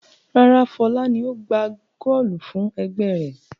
Rárá, Fọlá ni ó gbá góólù fún ẹgbẹ́ rẹ̀.